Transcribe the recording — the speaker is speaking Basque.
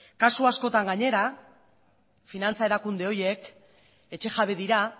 kasu askotan gainera finantza erakunde horiek etxejabe dira